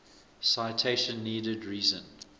citation needed reason